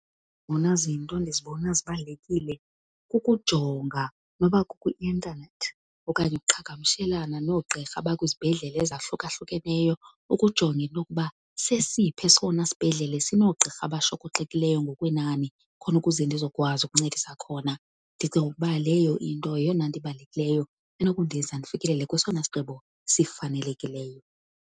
zona zinto endizibone zibalulekile kukujonga noba kukuintanethi okanye uqhagamshelana noogqirha abakwizibhedlele ezahlukahlukeneyo ukujonga into okuba sesiphi esona sibhedlele sinoogqirha abashokoxekileyo ngokwenani khona ukuze ndizokwazi ukuncedisa khona. Ndicinga ukuba leyo into yeyona nto ibalulekileyo enokundenza ndifikelele kwesona sigqibo sifanelekileyo